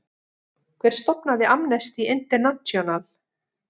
Hver stofnaði Amnesty International?